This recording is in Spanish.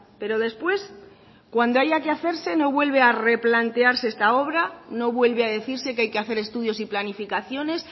pero después cuando haya que hacerse no vuelve a replantearse esta obra no vuelve a decirse que hay que hacer estudios y planificaciones